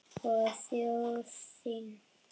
Og þjóð þína.